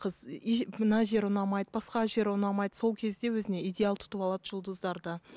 қыз и мына жер ұнамайды басқа жері ұнамайды сол кезде өзіне идеал тұтып алады жұлдыздарды